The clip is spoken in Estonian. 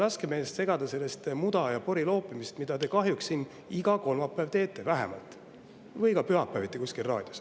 Ärgem laskem ennast segada selle muda ja pori loopimisest, mida te kahjuks siin iga kolmapäev teete, vähemalt, või ka pühapäeviti kuskil raadios.